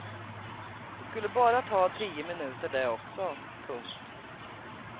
Det skulle bara ta tio minuter det också. punkt